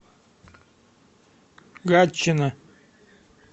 гатчина